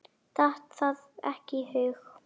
Datt það ekki í hug.